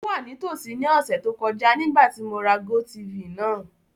O wa nitosi ni ọsẹ to kọja nigbati mo ra GoTv naa.